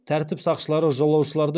тәртіп сақшылары жолаушыларды